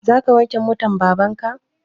Za ka wanke motan baban ka?